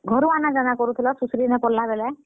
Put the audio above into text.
ଘରୁ ଆନାଯାନା କରୁଥିଲ ସୁଶ୍ରିନେ ପଢଲା ବେଲେ?